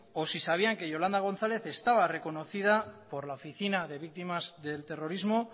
o si sabían que yolanda gonzález estaba reconocida por la oficina de víctimas del terrorismo